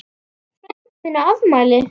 Frændi minn á afmæli.